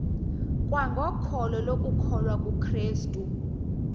kwangokholo lokukholwa kukrestu